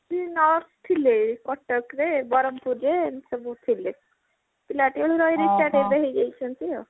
ସେ nurse ଥିଲେ କଟକରେ ବରହମପୁରରେ ଏମିତି ସବୁ ଥିଲେ ପିଲାଟିବେଳୁ ରହିରହି retired ଏବେ ହେଇଯାଇଛନ୍ତି